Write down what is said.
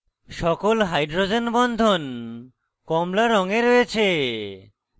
সকল hydrogen বন্ধন কমলা রঙে রয়েছে